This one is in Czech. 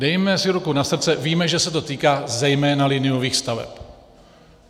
Dejme si ruku na srdce, víme, že se to týká zejména liniových staveb.